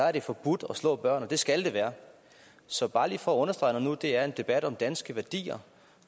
er det forbudt at slå børn og det skal det være så bare lige for at understrege det når nu det er en debat om danske værdier